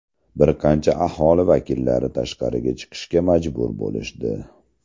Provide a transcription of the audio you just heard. Bir qancha aholi vakillari tashqariga chiqishga majbur bo‘lishdi.